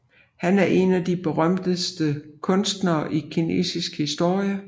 Han er en af de berømteste kunstnere i kinesisk historie